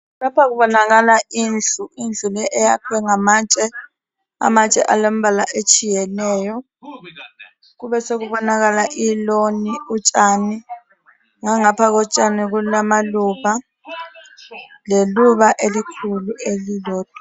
Lapha kubonakala indlu eyakhiwe ngamatshe alembala etshiyeneyo. Kube sekubonakala iloni utshani ngangapha kotshani kulamaluba leluba elikhulu elilodwa.